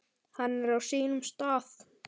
Hann er á sínum stað.